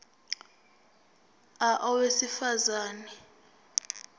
a owesifaz ane